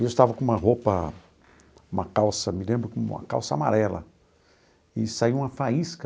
E eu estava com uma roupa, uma calça, me lembro, uma calça amarela, e saiu uma faísca